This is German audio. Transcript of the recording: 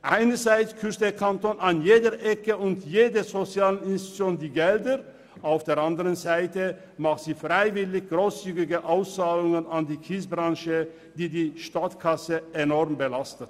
Einerseits kürzt der Kanton an jeder Ecke und bei jeder sozialen Institution die Mittel, und auf der anderen Seite macht er freiwillig grosszügige Auszahlungen an die Kiesbranche, welche die Kantonskasse stark belasten.